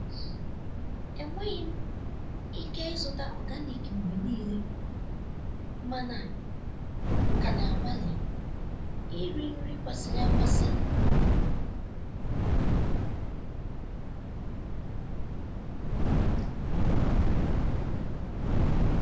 enweghị m ike ịzụta organic mgbe niile mana m ka na-agbalị iri nri kwesịrị ekwesị.